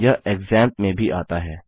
यह क्सैम्प में भी आता है